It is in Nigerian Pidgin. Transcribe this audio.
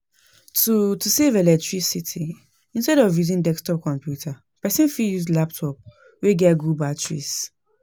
To To save electricity, instead of using desktop computer, person for use laptop wey get good batteries